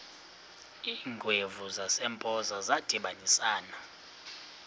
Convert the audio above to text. iingwevu zasempoza zadibanisana